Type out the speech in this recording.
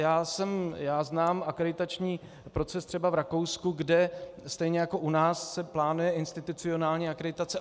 Já znám akreditační proces třeba v Rakousku, kde stejně jako u nás se plánuje institucionální akreditace.